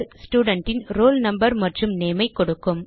student ன் roll number மற்றும் name ஐ கொடுக்கும்